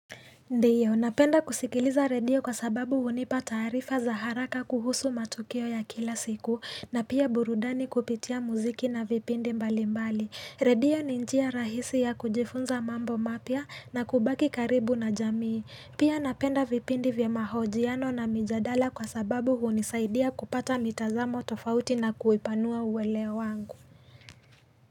Ndio, napenda kusikiliza redio kwa sababu hunipa taarifa za haraka kuhusu matukio ya kila siku na pia burudani kupitia muziki na vipindi mbali mbali. Redio ni njia rahisi ya kujifunza mambo mapya na kubaki karibu na jamii. Pia napenda vipindi vya mahojiano na mijadala kwa sababu hunisaidia kupata mitazamo tofauti na kuipanua uwele wangu.